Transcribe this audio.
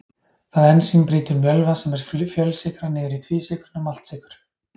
Það ensím brýtur mjölva sem er fjölsykra niður í tvísykruna maltsykur.